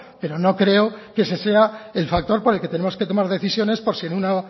pero no creo que ese sea el factor por el que tenemos que tomar decisiones por si en una